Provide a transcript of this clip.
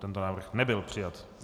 Tento návrh nebyl přijat.